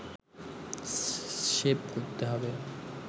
save করতে হবে